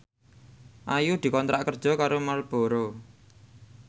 Ayu dikontrak kerja karo Marlboro